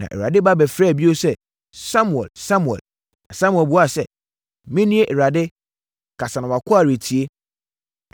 Na Awurade ba bɛfrɛɛ bio sɛ, “Samuel! Samuel!” Na Samuel buaa sɛ, “Menie, Awurade kasa na wʼakoa retie.”